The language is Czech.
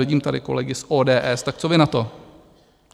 Vidím tady kolegy z ODS - tak co vy na to?